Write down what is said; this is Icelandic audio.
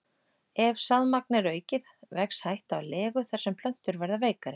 Ef sáðmagn er aukið vex hætta á legu þar sem plöntur verða veikari.